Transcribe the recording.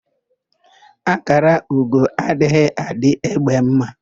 Ákàrà ugo adịghị adị égbé ḿmā.